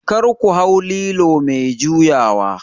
kar ku hau lilo mai juyawa?